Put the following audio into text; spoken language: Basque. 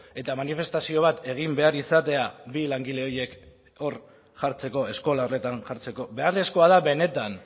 eta manifestazio bat egin behar izatea bi langile horiek hor jartzeko eskola horretan jartzeko beharrezkoa da benetan